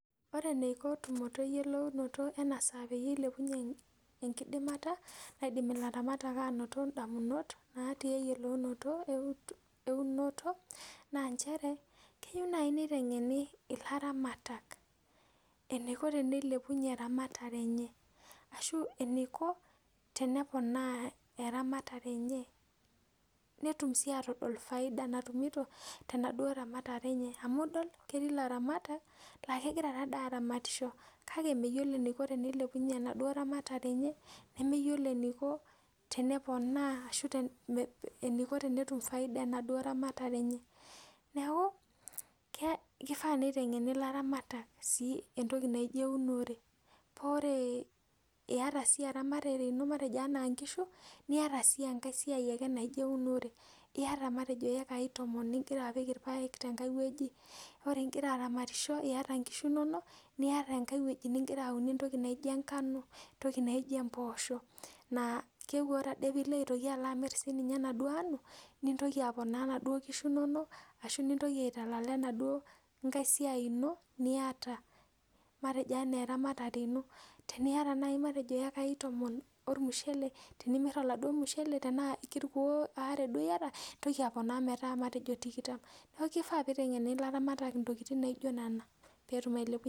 ore eneiko tumoto eyiolounoto ena saa peyie ilepunye enkidimata naidim ilaramatak anoto indamunot natii eyiolounoto eunoto naa ncheree keyiu naaji neitengeni ilaramatak eneiko teneilepunye eramatare enye ashuu eneiko teneponaa eramatare enye netuum sii atodol faida natumito tenaduo ramatare enye amuu idol ketii ilaramatak laa kegiraa taa dii aramatisho kake meyiolo eneiko teneliepunye enaduo ramatare enye nemeyiolo eneiko teneponaa ashuu eneiko tenetup faida enaduo ramatare enye neeku keifaa neitengeni ilaramatak sii entoki najii eunore paa oree iyata sii eramatare ino matejo anaa inkiishu niata sii enkai sia ake naijo eunore iata matejo iekai tomoon ningirra apik ilpaek tenkai iwoji matejo imgiraaramatisho iata inkishu inonok wore enkai woji ningirra aune entoki naijo enkano , entoki naijo imboosho naa keeku ore ade piillo amir sininye enaduo anuu nintokii apona endaa oo nkishu inonok ashuu nintoki aitalala enaduo nkai siai ino niata matejo enaa eramatare inoo teniata naaji matejo iekai tomoon olmushele tenimirr oladuo mushele tenaa kilkuuon ware duo iyata nintoki aponaa matejo tikitam neeku keifaa peitengeni ilaramatak intokitin naijo nena peetum...